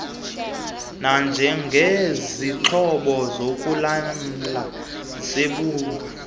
nanjengesixhobo sokulamla sebhunga